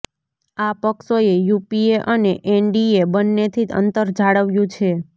આ પક્ષોએ યુપીએ અને એનડીએ બંનેથી અંતર જાળવ્યું છે